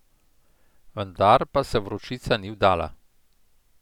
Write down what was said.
Vendar pa se Vročica ni vdala.